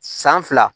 San fila